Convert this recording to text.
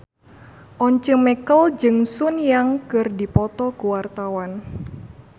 Once Mekel jeung Sun Yang keur dipoto ku wartawan